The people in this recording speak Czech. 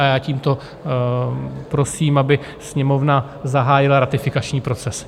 A já tímto prosím, aby Sněmovna zahájila ratifikační proces.